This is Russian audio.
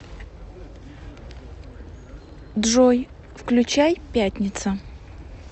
джой включай пятница